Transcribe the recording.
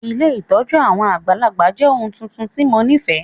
Ilé ìtójú àwon àgbàlagbà jẹ oun tuntun ti mo nifẹ.